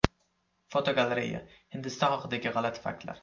Fotogalereya: Hindiston haqidagi g‘alati faktlar.